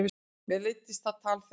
Mér leiddist það tal þeirra.